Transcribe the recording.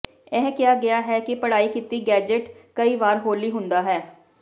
ਇਹ ਕਿਹਾ ਗਿਆ ਹੈ ਕਿ ਪੜ੍ਹਾਈ ਕੀਤੀ ਗੈਜ਼ਟ ਕਈ ਵਾਰ ਹੌਲੀ ਹੁੰਦਾ ਹੈ